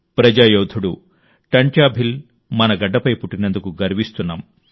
ప్రజా యోధుడు టంట్యా భిల్ మన గడ్డపై పుట్టినందుకు గర్విస్తున్నాం